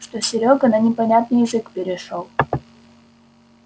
что серёга на непонятный язык перешёл